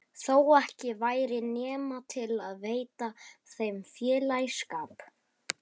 Þó ekki væri nema til að veita þeim félagsskap.